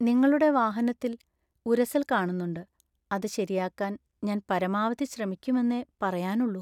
നിങ്ങളുടെ വാഹനത്തിൽ ഉരസല്‍ കാണുന്നുണ്ട്; അത് ശരിയാക്കാൻ ഞാൻ പരമാവധി ശ്രമിക്കുമെന്നേ പറയാനുള്ളൂ.